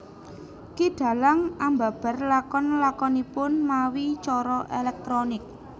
Ki dhalang ambabar lakon lakonipun mawi cara elektronik